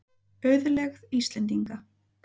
Auðlegð Íslendinga.